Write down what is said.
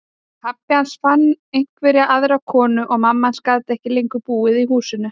Pabbi hans fann einhverja aðra konu og mamma hans gat ekki lengur búið í húsinu.